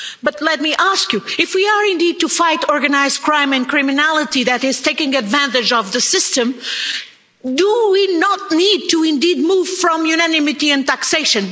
But let me ask you, if we are indeed to fight organised crime and criminality that is taking advantage of the system, do we not need to indeed move away from unanimity on taxation?